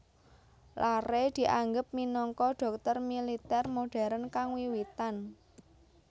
Larrey dianggep minangka dhokter militer modern kang wiwitan